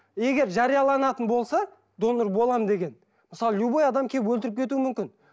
егер жарияланатын болса донор боламын деген мысалы любой адам келіп өлтіріп кетуі мүмкін